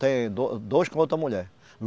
Tem do, dois com outra mulher.